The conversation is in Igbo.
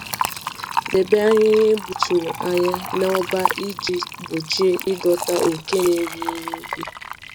Debe ahịhịa egbuturu anya na-ọba iji gbochie ịdọta oke na-eri ihe ubi.